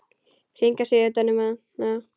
Hringar sig utan um hana.